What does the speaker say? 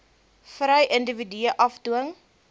vry individue afdwing